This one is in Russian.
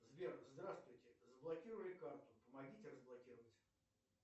сбер здравствуйте заблокировали карту помогите разблокировать